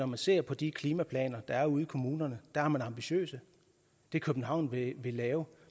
man ser på de klimaplaner der er ude i kommunerne er de ambitiøse det københavn vil lave